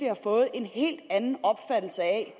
har fået en helt anden opfattelse af